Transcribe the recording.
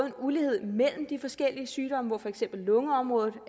en ulighed mellem de forskellige sygdomme hvor for eksempel lungeområdet